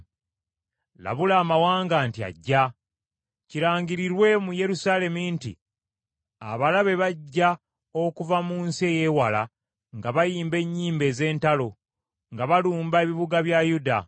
“Labula amawanga nti ajja: kirangirirwe mu Yerusaalemi nti, ‘Abalabe bajja okuva mu nsi ey’ewala nga bayimba ennyimba ez’entalo nga balumba ebibuga bya Yuda.